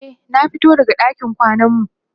e na fito daga ɗakin kwanan mu